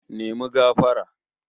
Apologise!